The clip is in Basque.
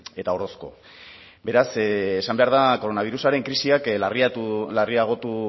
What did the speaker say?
eta orozko beraz esan behar da koronabirusaren krisiak larriagotu